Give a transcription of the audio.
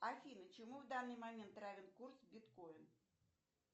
афина чему в данный момент равен курс биткоин